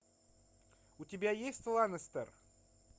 у тебя есть ланестер